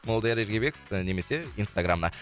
молдияр ергебеков немесе инстаграмына